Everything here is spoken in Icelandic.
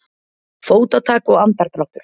Fótatak og andardráttur.